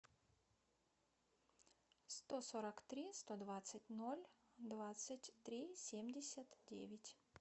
сто сорок три сто двадцать ноль двадцать три семьдесят девять